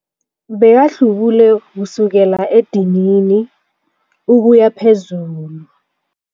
Bekahlubule kusukela edinini ukuya phezulu.